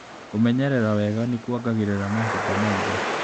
Kũmenyerera wega nĩkuongagĩrĩra mahinda ma indo.